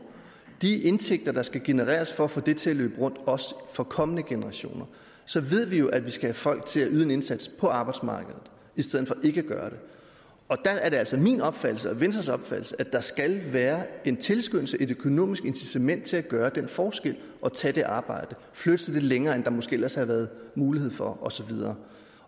de indtægter der skal genereres for at få det til at løbe rundt også for kommende generationer så ved vi jo at vi skal have folk til at yde en indsats på arbejdsmarkedet i stedet for ikke at gøre det der er det altså min opfattelse og venstres opfattelse at der skal være en tilskyndelse et økonomisk incitament til at gøre den forskel og tage det arbejde flytte sig lidt længere end der måske ellers havde været mulighed for og så videre